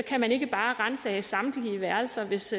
kan man ikke bare ransage samtlige værelser hvis